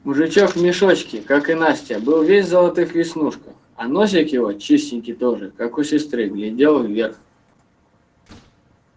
мужичок в мешочке как и настя был весь в золотых веснушках а носик его чистенький тоже как у сестры глядел вверх